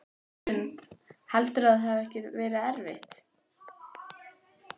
Hrund: Heldurðu að það verði ekkert erfitt?